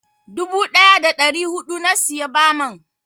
Dubu ɗaya da ɗari huɗu na siya baman.